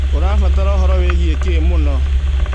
ũrabatara ũhoro wĩgie kĩ mũno?